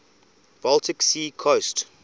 baltic sea coast